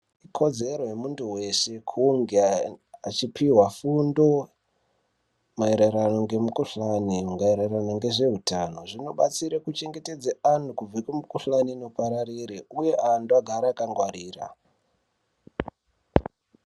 Ikodzero yemuntu veshe kunge achipihwa fundo maererano ngemukuhlani maererano ngezveutano. Zvinobatsira kuchengetedze antu kubve nemikuhlani inopararire uye antu agare akangwarira.